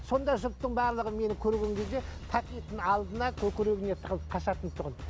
сонда жұрттың барлығы мені көрген кезде пакетін алдына көкірегіне тығылып қашатын тұғын